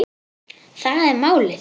Það er málið.